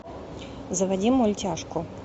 заводи мультяшку